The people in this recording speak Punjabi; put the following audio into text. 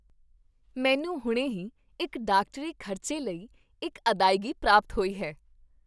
ਮੈਨੂੰ ਹੁਣੇ ਹੀ ਇੱਕ ਡਾਕਟਰੀ ਖ਼ਰਚੇ ਲਈ ਇੱਕ ਅਦਾਇਗੀ ਪ੍ਰਾਪਤ ਹੋਈ ਹੈ।